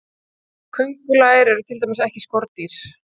Köngulær eru til dæmis ekki skordýr.